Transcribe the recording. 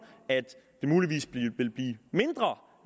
at det muligvis vil blive mindre